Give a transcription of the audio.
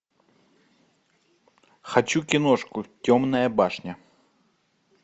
хочу киношку темная башня